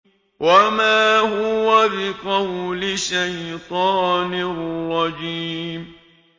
وَمَا هُوَ بِقَوْلِ شَيْطَانٍ رَّجِيمٍ